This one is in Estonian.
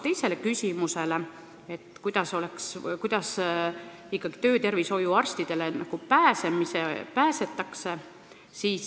Teine küsimus: kuidas ikkagi töötervishoiuarstide juurde pääsetakse?